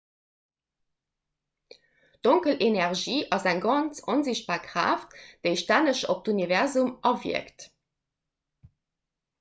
donkel energie ass eng ganz onsichtbar kraaft déi stänneg op d'universum awierkt